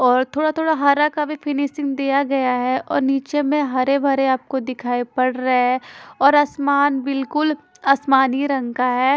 और थोड़ा-थोड़ा हरा का भी फिनिशिंग दिया गया है और निचे में हरे-भरे आपको दिखाई पड़ रहे हे और आसमान बिलकुल आसमानी रंग का है।